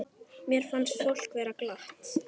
Mér fannst fólk vera glatt.